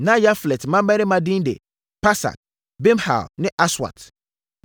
Na Yaflet mmammarima din de: Pasak, Bimhal ne Aswat.